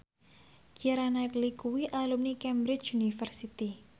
Keira Knightley kuwi alumni Cambridge University